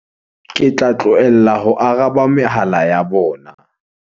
Ke tla tlohela ho araba mehala ya bona.